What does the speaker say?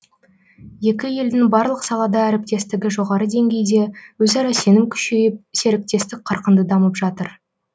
екі елдің барлық салада әріптестігі жоғары деңгейде өзара сенім күшейіп серіктестік қарқынды дамып жатыр